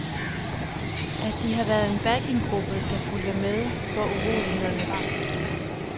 At de har været en backing gruppe, der fulgte med, hvor urolighederne var.